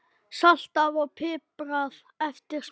Saltað og piprað eftir smekk.